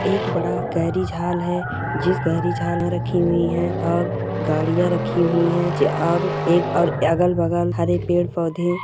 एक बड़ा garage hall है जिस गैरेज हॉल में रखी हुई है और गाड़िया रखी हुई है और एक और अगल-बगल हरे पेड़-पौधे--